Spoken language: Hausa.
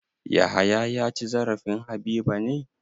Yahaya ya ci zarafin Habiba ne?